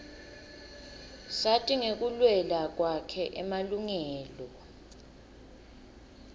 sati ngekulwela kwakhe emalungelo